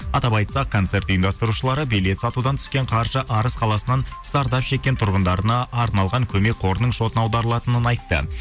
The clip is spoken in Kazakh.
атап айтсақ концерт ұйымдастырушылары билет сатудан түскен қаржы арыс қаласынан зардап шеккен тұрғындарына арналған көмек қорының шотына аударылатынын айтты